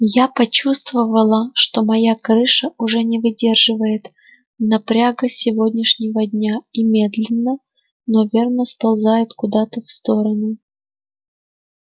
я почувствовала что моя крыша уже не выдерживает напряга сегодняшнего дня и медленно но верно сползает куда-то в сторону